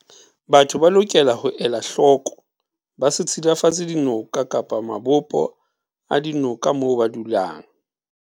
Batho ba lokela ho ela hloko ba se tshilafatse dinoka kapa mabopo a dinoka mo ba dulang.